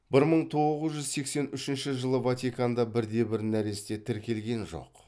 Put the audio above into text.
бір мың тоғыз жүз сексен үшінші жылы ватиканда бірде бір нәресте тіркелген жоқ